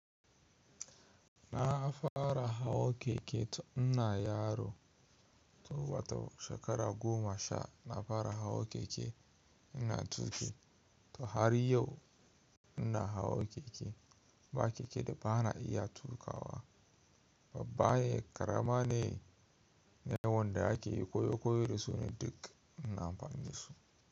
Na fara hawa keke tun ina yaro, to bata shekara goma sha, na fara hawa keke ina tuki. To har yau ina hawa keke. Ba keke da ba na iya tukawa. Babba ne, ƙarama ne, nawanda ake koyo koyo da su ne duk ina amfani da su.